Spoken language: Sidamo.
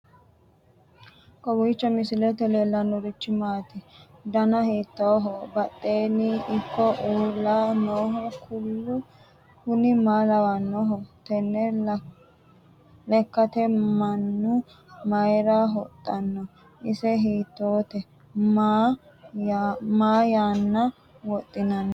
kowiicho misilete leellanorichi maati ? dana hiittooho ?badhhenni ikko uulla noohu kuulu kuni maa lawannoho? tenne lekkate mannu mayra wodhanno ise hiittoote ma yanna wodhinanni